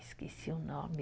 Esqueci o nome...